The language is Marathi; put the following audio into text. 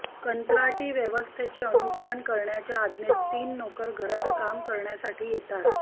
कंत्राटी व्यवस्थेचे अनुसरण करण्याच्या आज्ञेत तीन नोकर घरात काम करण्यासाठी येतात